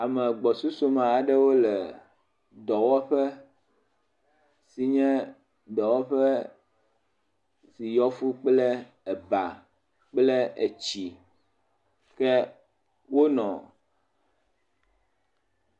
Ame gbɔsusume aɖewo le dɔwɔƒe eye dɔwɔƒe yɔ fuu kple eba kple etsi ke wonɔ………………..